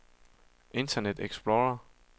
internet explorer